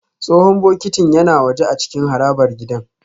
Tsohon bokitin yana waje a cikin harabar gidan